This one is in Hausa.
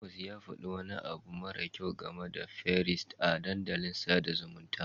Amos ya faɗi wani abu mara kyau game da firist a dandalin sada zumunta.